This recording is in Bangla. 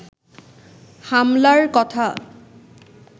হামলার কথা